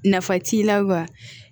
Nafa t'i la wa